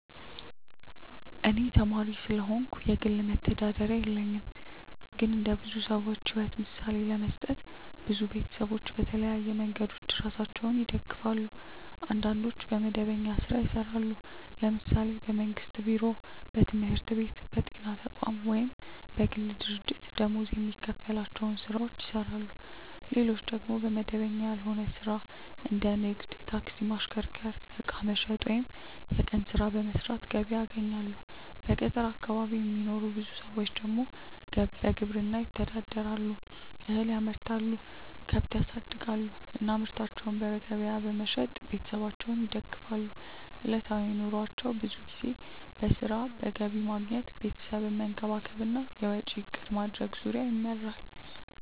እኔ ተማሪ ስለሆንኩ የግል መተዳደሪያ የለኝም። ግን እንደ ብዙ ሰዎች ሕይወት ምሳሌ ለመስጠት፣ ብዙ ቤተሰቦች በተለያዩ መንገዶች ራሳቸውን ይደግፋሉ። አንዳንዶች በመደበኛ ሥራ ይሰራሉ፤ ለምሳሌ በመንግስት ቢሮ፣ በትምህርት ቤት፣ በጤና ተቋም ወይም በግል ድርጅት ደመወዝ የሚከፈላቸው ሥራዎችን ይሰራሉ። ሌሎች ደግሞ በመደበኛ ያልሆነ ሥራ እንደ ንግድ፣ ታክሲ ማሽከርከር፣ ዕቃ መሸጥ ወይም የቀን ሥራ በመስራት ገቢ ያገኛሉ። በገጠር አካባቢ የሚኖሩ ብዙ ሰዎች ደግሞ በግብርና ይተዳደራሉ፤ እህል ያመርታሉ፣ ከብት ያሳድጋሉ እና ምርታቸውን በገበያ በመሸጥ ቤተሰባቸውን ይደግፋሉ። ዕለታዊ ኑሯቸው ብዙ ጊዜ በሥራ፣ በገቢ ማግኘት፣ ቤተሰብን መንከባከብ እና የወጪ እቅድ ማድረግ ዙሪያ ይመራል።